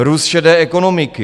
Růst šedé ekonomiky.